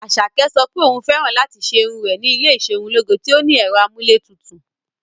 Asake sọ pé òun fẹ́ràn láti ṣe irun rẹ̀ ní ilé iserunloge tí ó ní ẹ̀rọ amúlétutù.